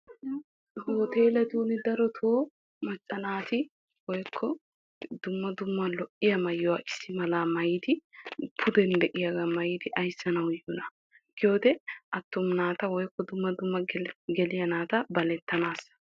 ha hoteelettuni darotoo macca naati woykko dumma dumma lo'iya maayuwa issi malaa maayidi pudden d'iyaagaa maayidi ayssanawu yiidonaa giyoode attuma naata dumma dumma geliya naata balettanaassa.